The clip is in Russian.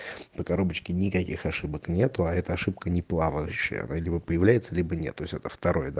по коробочке никаких ошибок нету а это ошибка не плавающая она дибо появляется либо нет то есть это второе да